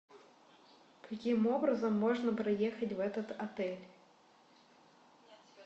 каким образом можно проехать в этот отель